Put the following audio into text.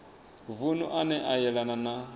vunu ane a yelana na